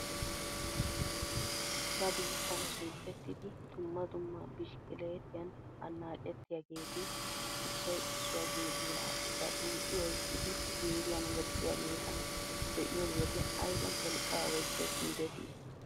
Ba biittaan sunttetidi dumma dumma bishikileetiyaan annacettiyaageeti issoy issuwaa geeduwa baxuuxi oyqqidi ziiriyaan woxxiyaageeta be'iyo wode ayba wolqqaa oychchees gidetii!